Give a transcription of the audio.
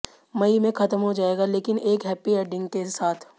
मई में खत्म हो जायेगा लेकिन एक हैप्पी एंडिग के साथ